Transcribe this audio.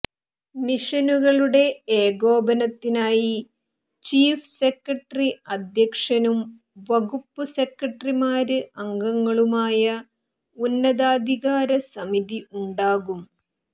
മിഷനുകളുടെ ഏകോപനത്തിനായി chief secretary അധ്യക്ഷനും വകുപ്പ് സെക്രട്ടറിമാര് അംഗങ്ങളുമായ ഉന്നതാധികാര സമിതി ഉണ്ടാകും